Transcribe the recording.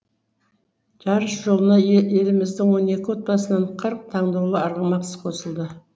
жарыс жолына еліміздің он екі отбасынан қырық таңдаулы арғымақ қосылды